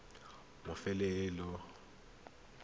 mafelo a taolo ya metsi